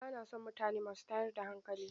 Ba na son mutane masu tayar da hankali.